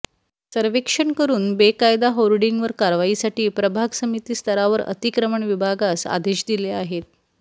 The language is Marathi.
सर्वेक्षण करून बेकायदा होर्डिंगवर कारवाईसाठी प्रभाग समिती स्तरावर अतिक्रमण विभागांस आदेश दिले आहेत